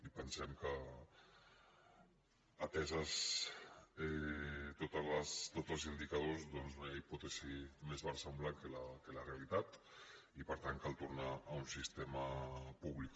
i pensem que atesos tots els indicadors doncs no hi ha hipòtesi més versemblant que la realitat i per tant cal tornar a un sistema públic